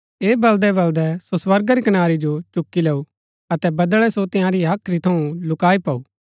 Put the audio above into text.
ऐह बलदै बलदै सो स्वर्गा री कनारी जो चुकी लैऊ अतै बदळै सो तंयारी हाख्री थऊँ लुकाई पाऊ